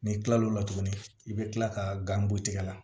N'i kilal'o la tuguni i bɛ kila ka gan bɔ tigɛ la